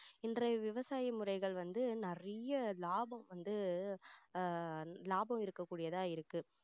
இன்றைய விவசாய முறைகள் வந்து நிறைய லாபம் வந்து அஹ் லாபம் இருக்க கூடியதா இருக்கு